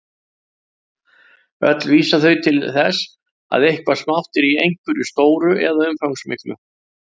Öll vísa þau til þess að eitthvað smátt er í einhverju stóru eða umfangsmiklu.